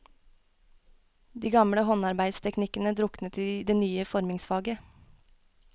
De gamle håndarbeidsteknikkene druknet i det nye formingsfaget.